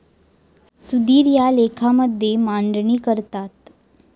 सुधीर या लेखामध्ये मांडणी करतात.